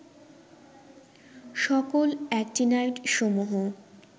সকল অ্যাক্টিনাইডসমূহ